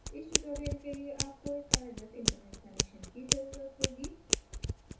इस tutorial के लिए आपको एक कार्यरत internet connection की ज़रुरत होगी